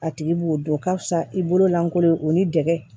A tigi b'o dɔn ka fisa i bolo lankolon o ni dɛgɛ